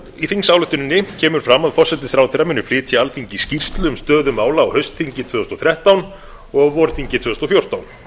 í þingsályktuninni kemur fram að forsætisráðherra muni flytja alþingi skýrslu um stöðu mála á haustþingi tvö þúsund og þrettán og á vorþingi tvö þúsund og fjórtán það